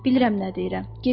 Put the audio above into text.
Bilirəm nə deyirəm.